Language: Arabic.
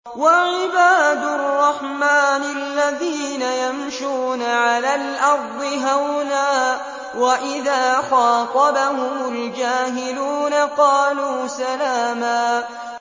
وَعِبَادُ الرَّحْمَٰنِ الَّذِينَ يَمْشُونَ عَلَى الْأَرْضِ هَوْنًا وَإِذَا خَاطَبَهُمُ الْجَاهِلُونَ قَالُوا سَلَامًا